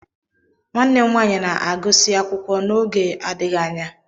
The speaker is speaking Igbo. Nwanne m nwanyị na-agụsị akwụkwọ n'oge adịghị anya